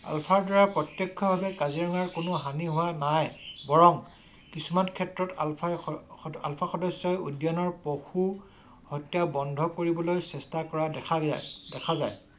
আলফাৰ দ্বাৰা প্ৰত্যক্ষভাবে কাজিৰঙাৰ কোনো হানি হোৱা নাই ।বৰং কিছুমান ক্ষেত্ৰত আলফাই আলফাৰ সদস্যৰে উদ্যানৰ পশু হত্যা বন্ধ কৰিবলৈ চেষ্টা কৰা দেখা যায়।